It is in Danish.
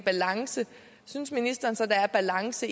balance synes ministeren så der er balance